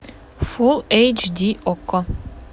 фул эйч ди окко